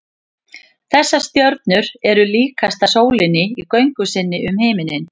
þessar stjörnur eru líkastar sólinni í göngu sinni um himininn